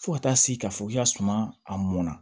Fo ka taa se k'a fɔ k'i ka suma a mɔnna